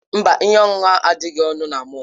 Mba, ihe ọṅụṅụ ahụ adịghị ọnụ na mọll.